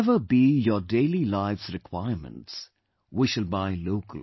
Whatever be our daily life's requirements, we shall buy local